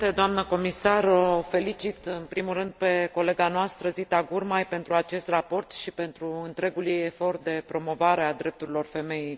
O felicit, în primul rând, pe colega noastră, Zita Gurmai, pentru acest raport și pentru întregul ei efort de promovare a drepturilor femeii.